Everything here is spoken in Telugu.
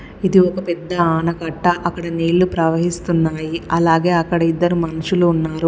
ఇది ఒక పెద్ద ఆనకట్ట. అక్కడ నీళ్లు ప్రవహిస్తున్నాయి. అలాగే అక్కడ ఇద్దరు మనుషులు ఉన్నారు.